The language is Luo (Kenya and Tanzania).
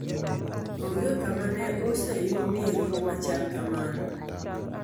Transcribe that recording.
Onge kama ne oseyudie rit machal kamano.